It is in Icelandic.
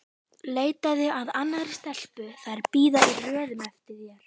Leitaðu að annarri stelpu, þær bíða í röðum eftir þér!